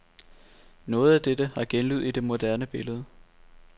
Noget af dette har genlyd i det moderne billede.